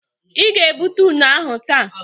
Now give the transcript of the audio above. I ga-ebụte ụne ahụ taa.